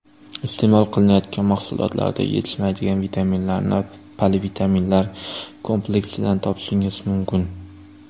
Iste’mol qilinayotgan mahsulotlarda yetishmaydigan vitaminlarni polivitaminlar kompleksidan topishingiz mumkin.